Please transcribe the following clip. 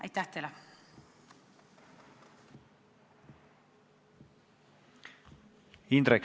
Indrek Saar, palun!